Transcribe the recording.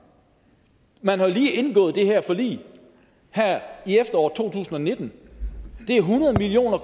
man har jo lige indgået det her forlig her i efteråret to tusind og nitten det er hundrede million